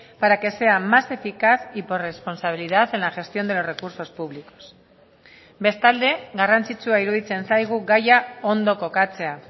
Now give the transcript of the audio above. para que sea más eficaz y por responsabilidad en la gestión de los recursos públicos bestalde garrantzitsua iruditzen zaigu gaia ondo kokatzea